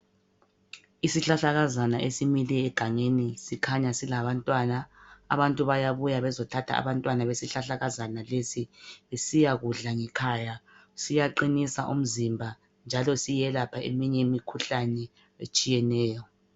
Isihlahlakazana esimile egangeni sikhanya silabantwana abantu bayabuya bezothatha abantwana besihlahlakazana lesi besiyakudla ngekhaya. Siyaqinisa umzimba njalo siyelapha eminye imkhuhlane etshiyeneyo.